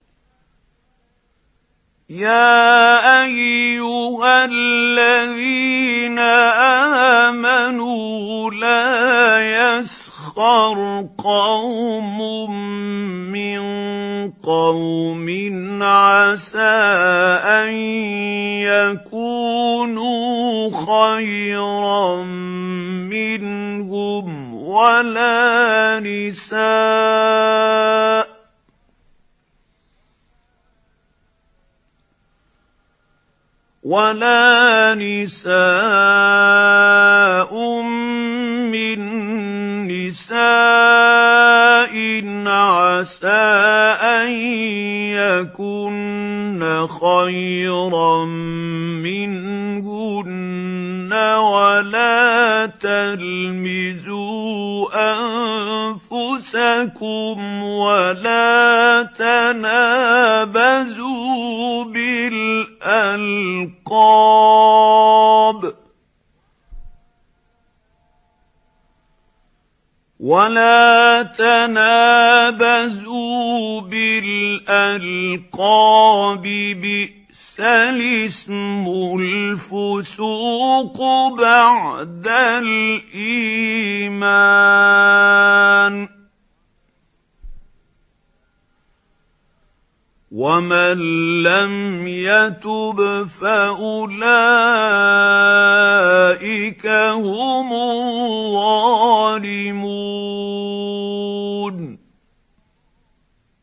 يَا أَيُّهَا الَّذِينَ آمَنُوا لَا يَسْخَرْ قَوْمٌ مِّن قَوْمٍ عَسَىٰ أَن يَكُونُوا خَيْرًا مِّنْهُمْ وَلَا نِسَاءٌ مِّن نِّسَاءٍ عَسَىٰ أَن يَكُنَّ خَيْرًا مِّنْهُنَّ ۖ وَلَا تَلْمِزُوا أَنفُسَكُمْ وَلَا تَنَابَزُوا بِالْأَلْقَابِ ۖ بِئْسَ الِاسْمُ الْفُسُوقُ بَعْدَ الْإِيمَانِ ۚ وَمَن لَّمْ يَتُبْ فَأُولَٰئِكَ هُمُ الظَّالِمُونَ